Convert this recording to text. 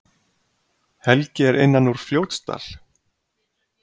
Helgi er innan úr Fljótsdal.